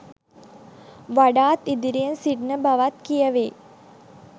වඩාත් ඉදිරියෙන් සිටින බවත් කියැවෙයි.